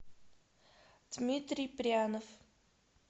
дмитрий прянов